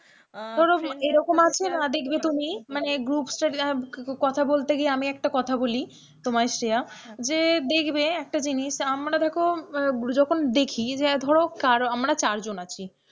মানে group study কথা বলতে গিয়ে আমি একটা কথা বলি তোমায় শ্রেয়া, যে দেখবে একটা জিনিস আমরা দেখো যখন দেখি যে ধরো আমরা চার জন আছি,